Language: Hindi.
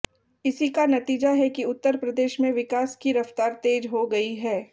इसी का नतीजा है कि उत्तर प्रदेश में विकास की रफ्तार तेज हो गई है